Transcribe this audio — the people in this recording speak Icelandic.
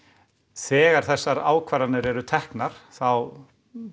þegar þessar ákvarðanir eru teknar þá